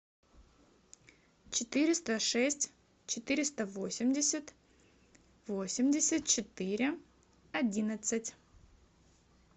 четыреста шесть четыреста восемьдесят восемьдесят четыре одиннадцать